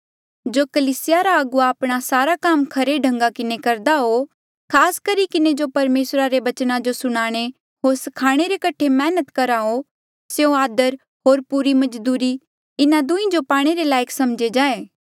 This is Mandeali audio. जो कलीसिया रे अगुवा आपणा सारा काम खरे ढंगा किन्हें करदा हो खास करी किन्हें जो परमेसरा रे बचना जो सुनाणे होर स्खाणे रे कठे मैहनत करहा हो स्यों आदर होर पूरी मजदूरी इन्हा दुहीं जो पाणे रे लायक समझे जाएं